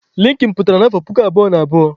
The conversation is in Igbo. Linkin pụtara na afọ puku abụọ na abụọ